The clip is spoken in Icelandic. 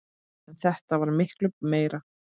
En þetta varð miklu meira.